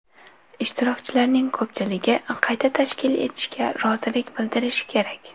Ishtirokchilarning ko‘pchiligi qayta tashkil etishga rozilik bildirishi kerak.